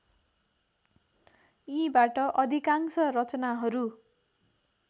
यीबाट अधिकांश रचनाहरू